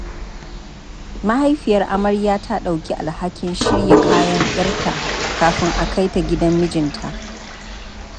Mahaifiyar amarya ta ɗauki alhakin shirya kayan 'yarta kafin a kai ta gidan mijinta.